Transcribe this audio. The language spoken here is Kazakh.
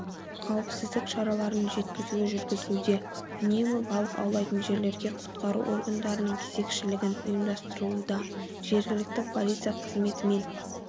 қауіпсіздік шараларын жеткізуі жүргізілуде үнемі балық аулайтын жерлерге құтқару орындарының кезекшілігін ұйымдастырылуда жергілікті полиция қызметімен